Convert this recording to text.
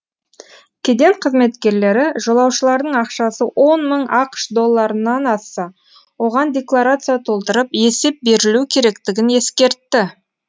кеден қызметкерлері жолаушылардың ақшасы он мың ақш долларынан асса оған декларация толтырып есеп берілуі керектігін ескертті